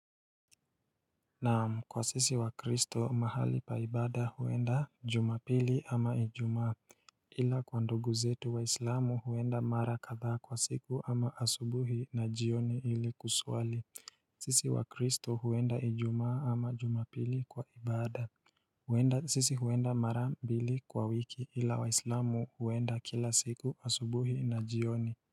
Na kwa sisi wa kristo mahali pa ibada huenda jumapili ama ijumaa ila kwa ndugu zetu waislamu huenda mara kadhaa kwa siku ama asubuhi na jioni ili kusuali sisi wa kristo huenda ijumaa ama jumapili kwa ibada. Sisi huenda mara mbili kwa wiki ila wa islamu huenda kila siku asubuhi na jioni.